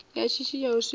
ya shishi ya u sikwa